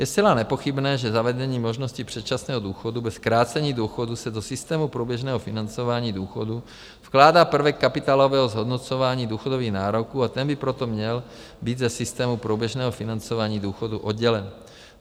Je zcela nepochybné, že zavedení možnosti předčasného důchodu bez zkrácení důchodu se do systému průběžného financování důchodů vkládá prvek kapitálového zhodnocování důchodových nároků, a ten by proto měl být ze systému průběžného financování důchodu oddělen.